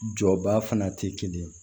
Jɔba fana tɛ kelen ye